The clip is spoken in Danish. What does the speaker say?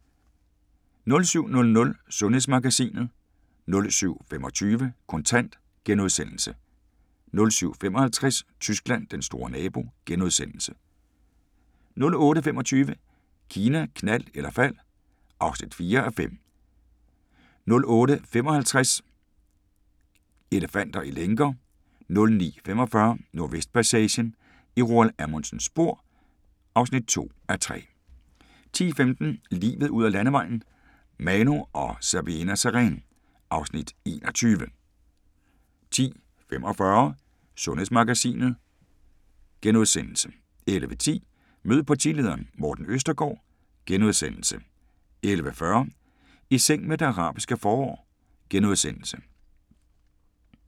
07:00: Sundhedsmagasinet 07:25: Kontant * 07:55: Tyskland: Den store nabo * 08:25: Kina, knald eller fald (4:5) 08:55: Elefanter i lænker 09:45: Nordvestpassagen – i Roald Amundsens spor (2:3) 10:15: Livet ud ad landevejen: Manu og Sabeena Sareen (Afs. 21) 10:45: Sundhedsmagasinet * 11:10: Mød partilederen: Morten Østergaard * 11:40: I seng med det arabiske forår *